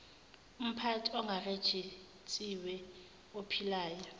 uphathini ongarejistiwe ophilayo